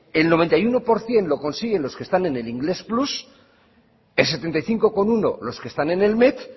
el noventa y uno por ciento lo consiguen los que están en el inglés plus el setenta y cinco coma uno por ciento los que están en el met